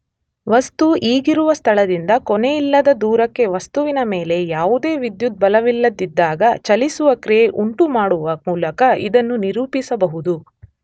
ವಸ್ತು ಈಗಿರುವ ಸ್ಥಳದಿಂದ ಕೊನೆಯಿಲ್ಲದ ದೂರಕ್ಕೆ ವಸ್ತುವಿನ ಮೇಲೆ ಯಾವುದೇ ವಿದ್ಯುತ್ ಬಲವಿಲ್ಲದಿದ್ದಾಗ ಚಲಿಸುವ ಕ್ರಿಯೆ ಉಂಟುಮಾಡುವ ಮೂಲಕ ಇದನ್ನು ನಿರೂಪಿಸಬಹುದು.